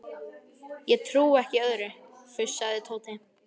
Ég trúi ekki öðru, fussaði Tóti.